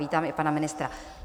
Vítám i pana ministra.